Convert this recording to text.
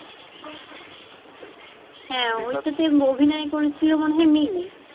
হ্যাঁ ওইটাতে অভিনয় করেছিলো মনে হয় মিমি।